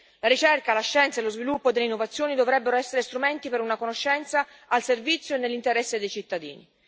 La ricerca, la scienza e lo sviluppo delle innovazioni dovrebbero essere strumenti per una conoscenza al servizio e nell'interesse dei cittadini.